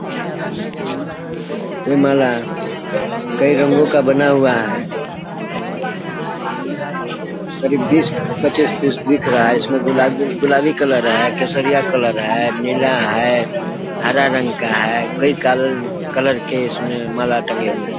ये माला कई रंगों का बना हुआ है करीब बीस पच्चीस पीस दिख रहा है इसमें गुलाबी कलर है केसरिया कलर है नीला है हरा रंग का है कई काल कलर के इसमें माला टंगे हुए है।